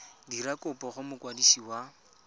dira kopo go mokwadisi wa